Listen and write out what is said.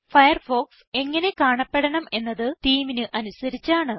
Firefox എങ്ങനെ കാണപ്പെടണമെന്നത് themeന് അനുസരിച്ചാണ്